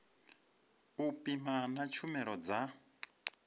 u pima na tshumelo dza